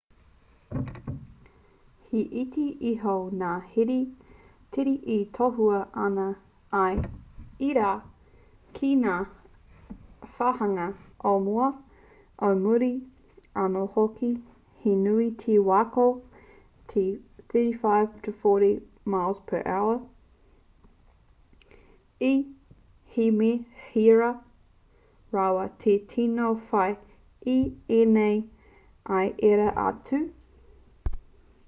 he iti iho ngā here tere e tohua ana i ērā ki ngā wāhanga o mua o muri anō hoki - he nui te wā ko te 35-40 m/h 56-64 km/h - ā he mea hira rawa te tino whai i ēnei i ērā atu